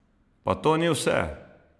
Pa to ni vse!